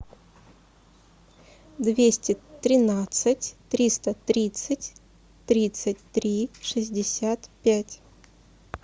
двести тринадцать триста тридцать тридцать три шестьдесят пять